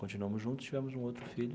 Continuamos juntos, tivemos um outro filho.